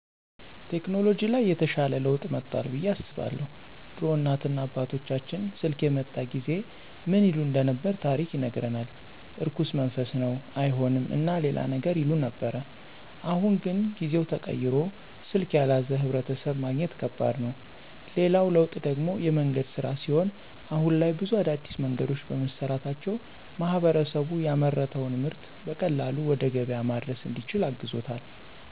ቴከኖሎጅ ላይ የተሻለ ለውጥ መጦአል ብዬ አስባለሁ። ድሮ እናት እና አባቶቻችን ስልክ የመጣ ጊዜ ምን ይሉ እንደነበር ታሪክ ይነግረናል። እርኩስ መንፈስ ነው አይሆንም እና ሌላም ነገር ይሉ ነበር። አሁን ግን ጊዜው ተቀይሮ ስልክ ያልያዘ ሕብረተሰብ ማግኘት ከባድ ነው። ሌላው ለውጥ ደግሞ የመንገድ ሥራ ሲሆን አሁን ላይ ብዙ አዳዲስ መንገዶች በመሰራታቸው ማህበረሰቡ ያመረተውን ምርጥ በቀላሉ ወደ ገበያ ማድረስ እንዲችል አግዞታል።